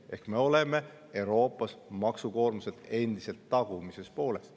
Ehk me oleme Euroopas maksukoormuselt endiselt tagumises pooles.